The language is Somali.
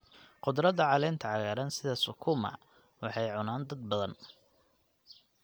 Khudradda caleenta cagaaran sida sukuma waxay cunaan dad badan.